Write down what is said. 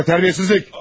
Bu nə tərbiyəsizlik!